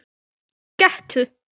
Gettu